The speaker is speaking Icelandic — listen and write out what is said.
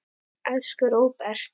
Elsku Róbert.